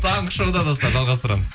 таңғы шоуда достар жалғастырамыз